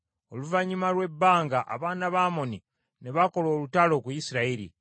Oluvannyuma lw’ebbanga abaana ba Amoni ne bakola olutalo ku Isirayiri.